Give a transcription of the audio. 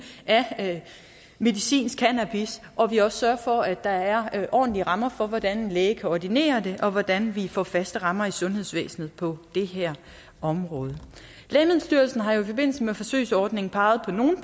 af medicinsk cannabis og at vi også sørger for at der er ordentlige rammer for hvordan en læge kan ordinere det og hvordan vi får faste rammer i sundhedsvæsenet på det her område lægemiddelstyrelsen har jo i forbindelse med forsøgsordningen peget på nogle